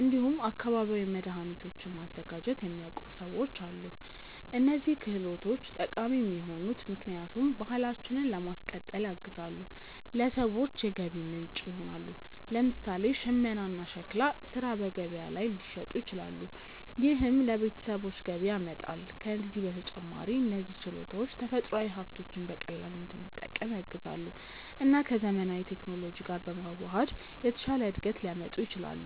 እንዲሁም አካባቢያዊ መድኃኒቶችን ማዘጋጀት የሚያውቁ ሰዎችም አሉ። እነዚህ ክህሎቶች ጠቃሚ የሆኑት ምክንያቱም ባህላችንን ለማስቀጠል ያግዛሉ፣ ለሰዎችም የገቢ ምንጭ ይሆናሉ። ለምሳሌ ሽመና እና ሸክላ ሥራ በገበያ ላይ ሊሸጡ ይችላሉ፣ ይህም ለቤተሰቦች ገቢ ያመጣል። ከዚህ በተጨማሪ እነዚህ ችሎታዎች ተፈጥሯዊ ሀብቶችን በቀላሉ እንድንጠቀም ያግዛሉ እና ከዘመናዊ ቴክኖሎጂ ጋር በመዋሃድ የተሻለ እድገት ሊያመጡ ይችላሉ።